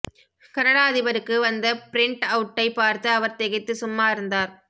Canada அதிபருக்கு வந்த பிரிண்ட் அவுட்டைப் பார்த்து அவர் திகைத்து சும்மா இருந்தார்